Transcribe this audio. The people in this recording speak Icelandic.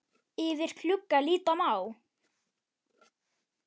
Yfir glugga líta má.